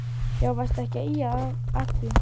Já varstu ekki að ýja að því.